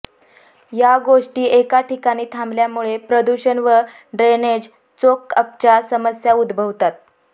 या गोष्टी एका ठिकाणी थांबल्यामुळे प्रदुषण व ड्रेनेज चोकअपच्या समस्या उदभवतात